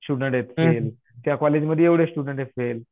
student आहेत fail, त्या कॉलेजमध्ये एवढे स्टुडन्ट आहेत फेल